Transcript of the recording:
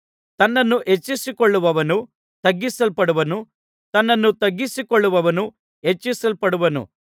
ತನ್ನನ್ನು ಹೆಚ್ಚಿಸಿಕೊಳ್ಳುವವನು ತಗ್ಗಿಸಲ್ಪಡುವನು ತನ್ನನ್ನು ತಗ್ಗಿಸಿಕೊಳ್ಳುವವನು ಹೆಚ್ಚಿಸಲ್ಪಡುವನು